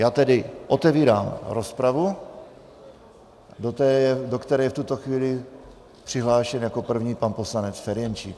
Já tedy otevírám rozpravu, do které je v tuto chvíli přihlášen jako první pan poslanec Ferjenčík.